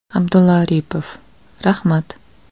Abdulla Aripov: Rahmat.